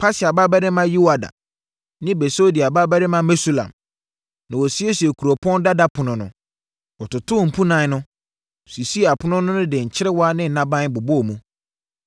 Paseah babarima Yoiada ne Besodeia babarima Mesulam na wɔsiesiee Kuropɔn Dada Ɛpono no. Wɔtotoo mpunan no, sisii apono no de nkyerewa ne nnaban bobɔɔ mu.